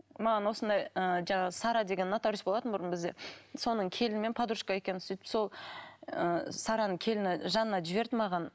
маған осындай ы жаңағы сара деген нотариус болатын бұрын бізде соның келіні мен подружка екеуміз сөйтіп сол ы сараның келіні жанна жіберді маған